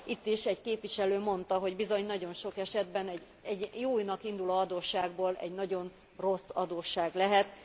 Itt is egy képviselő mondta, hogy bizony nagyon sok esetben egy jónak induló adósságból egy nagyon rossz adósság lehet.